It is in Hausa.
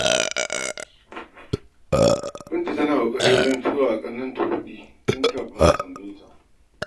Binta tana ƙoƙari wajen tura wa ƙannenta kuɗi, tun kafin su tambaye ta.